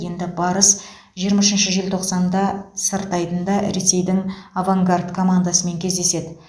енді барыс жиырма үшінші желтоқсанда сырт айдында ресейдің авангард командасымен кездеседі